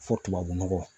Fɔ tubabu nɔgɔ